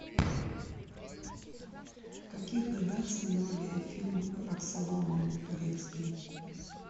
в каких годах снимали фильм роксолана турецкий